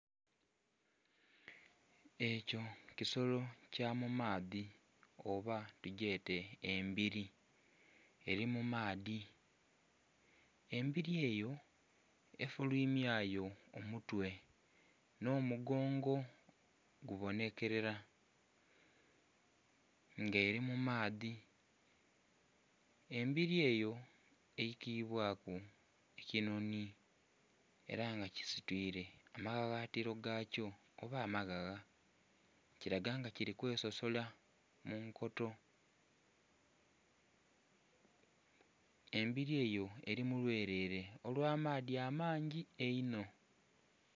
Ekyo kisolo kyamumaadhi oba tugyete embiri eri mumaadhi, embiri eyo efulimyayo omutwe n'omugongo gubonekerera nga eri mumaadhi, nga embiri eyo eikibwaku ekinoni era nga kisitwire amaghaghatiro gakyo oba amaghagha kiraga nga kiri kwesosola munkoto. Embiri eyo eri mulwerere olwamaadhi amangi einho.